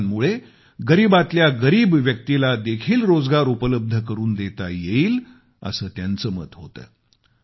उद्योगांमुळे गरीबातल्या गरीब व्यक्तीला देखील रोजगार उपलब्ध करून देता येईल असे त्यांचे मत होते